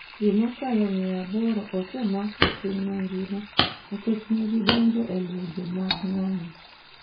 Ji mokalo mia aboro osemak e piny mangima nikech ne gidonjon’go e lwenje mag ng’anyo.